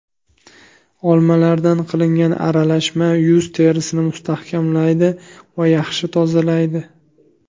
Olmalardan qilingan aralashma yuz terisini mustahkamlaydi va yaxshi tozalaydi.